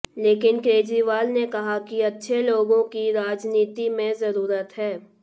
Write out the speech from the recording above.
लेकिन केजरीवाल ने कहा कि अच्छे लोगों की राजनीति में जरूरत है